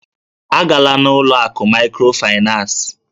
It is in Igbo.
A gala n'ụlọ akụ mikrofinas!